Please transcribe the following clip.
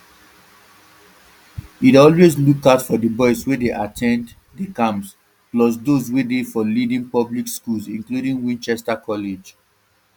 e dey always look out for boys wey dey at ten d di camps plus those wey dey for leading public schools including winchester college